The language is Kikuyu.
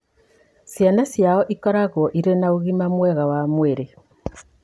Ciana ciao ikoragwo irĩ na ũgima mwega wa mwĩrĩ.